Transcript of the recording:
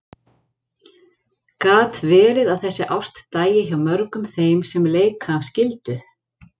Gat verið að þessi ást dæi hjá mörgum þeim sem leika af skyldu?